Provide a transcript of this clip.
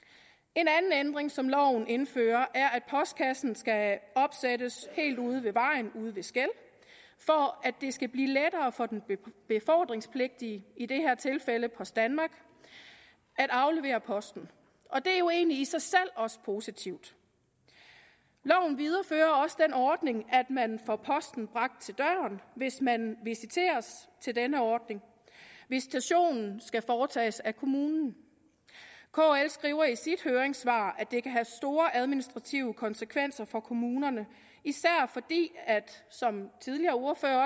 en anden ændring som loven indfører er at postkassen skal opsættes helt ude ved vejen helt ude ved skel for at det skal blive lettere for den befordringspligtige i det her tilfælde post danmark at aflevere posten og det er jo egentlig i sig selv også positivt loven viderefører også den ordning at man får posten bragt til døren hvis man visiteres til denne ordning visitationen skal foretages af kommunen kl skriver i sit høringssvar at det kan have store administrative konsekvenser for kommunerne især fordi som tidligere ordførere